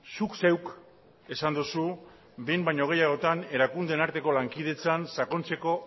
zuk zeuk esan duzu behin baino gehiagotan erakundeen arteko lankidetzan sakontzeko